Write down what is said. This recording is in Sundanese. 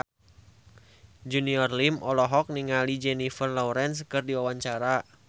Junior Liem olohok ningali Jennifer Lawrence keur diwawancara